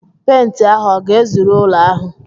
Pent ahụ ọ ga-ezuru ụlọ ahụ?